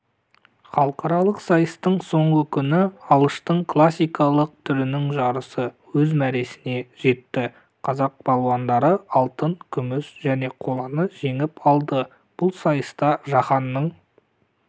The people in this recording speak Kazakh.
халықаралық сайыстың соңғы күні алыштың классикалық түрініңжарысы өз мәресіне жетті қазақ балуандары алтын күміс және қоланы жеңіп алды бұл сайыста жаһанның